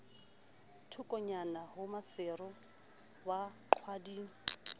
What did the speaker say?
thokonyana ho maseru wa qwading